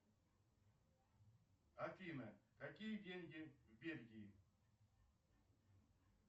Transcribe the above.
афина какие деньги в бельгии